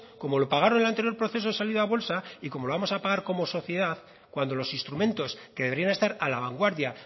como lo pagaron el anterior proceso de salida a bolsa y como lo vamos a pagar como sociedad cuando los instrumentos que deberían estar a la vanguardia